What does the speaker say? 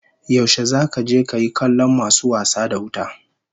Yaushe zaka je kayi kallon masu wasa da wuta?